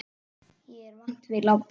Ég er vant við látinn.